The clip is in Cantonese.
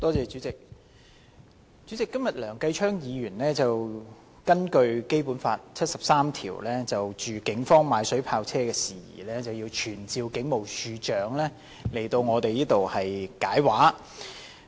主席，今天梁繼昌議員根據《基本法》第七十三條動議議案，就警方購買水炮車的事宜傳召警務處處長到立法會作出解釋。